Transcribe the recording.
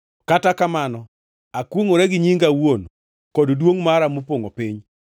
Kata kamano, akwongʼora gi nyinga awuon kod duongʼ mara mopongʼo piny,